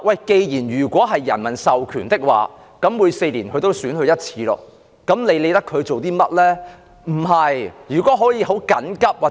既然議員由人民授權，每4年都要接受選舉的洗禮，是否便無需理會其行為呢？